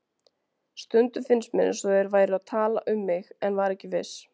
Stundum fannst mér eins og þeir væru að tala um mig en var ekki viss.